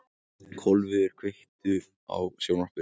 Kolviður, kveiktu á sjónvarpinu.